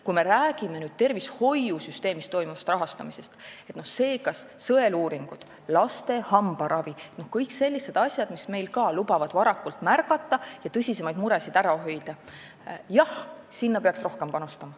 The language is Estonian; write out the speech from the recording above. Kui me räägime tervishoiusüsteemi rahastamisest, sõeluuringutest, laste hambaravist, kõigist sellistest asjadest, mis lubavad muresid varakult märgata ja tõsisemaid muresid ära hoida, siis jah, sinna peaks rohkem panustama.